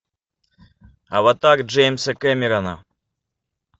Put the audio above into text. аватар джеймса кэмерона